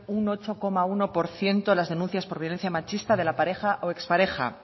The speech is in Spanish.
un ocho coma uno por ciento las denuncias por violencia machista de la pareja o ex pareja